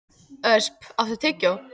Ösp, áttu tyggjó?